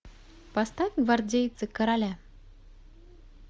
поставь гвардейцы короля